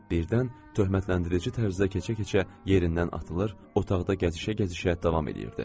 Birdən töhmətləndirici tərzdə keçə-keçə yerindən atılır, otaqda gəzişə-gəzişə davam eləyirdi.